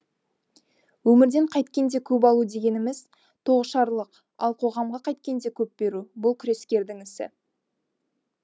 өмірден қайткенде көп алу дегеніміз тоғышарлық ал қоғамға қайткенде көп беру бұл күрескердің ісі